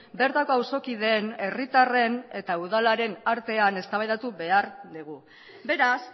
bertako auzokideen herritarren eta udalaren artean eztabaidatu behar dugu beraz